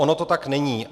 Ono to tak není.